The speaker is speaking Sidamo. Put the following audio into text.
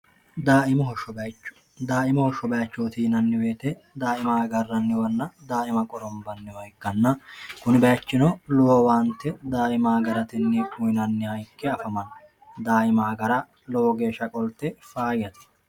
daaimoho shobaachootiinanniweete daaima agarranniwanna daaima qorombanniwa ikkanna kuni baechino lowowaante daaima agaratinni uyinanniha ikke afamanno daaima agara lowo geeshsha qolte faayati